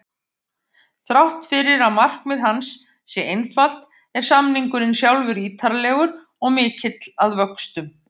Þrátt fyrir að markmið hans sé einfalt er samningurinn sjálfur ítarlegur og mikill að vöxtum.